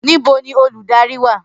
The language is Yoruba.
Nibo ni oludari wa?